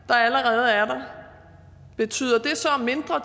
der allerede er der betyder det så mindre